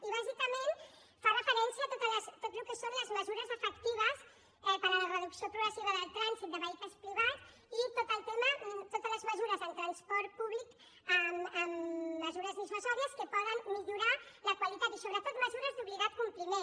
i bàsicament fa referència a tot el que són les mesures efectives per a la reducció progressiva del trànsit de vehicles privats i tot el tema totes les mesures en transport públic amb mesures dissuasives que en poden millorar la qualitat i sobretot mesures d’obligat compliment